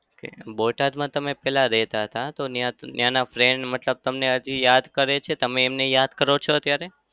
બોટાદમાં તમે પહેલા રહેતા હતા તો ત્યાં ત્યાંના friend મતલબ તમને હજી યાદ કરે છે તમે એમને યાદ કરો છો અત્યારે?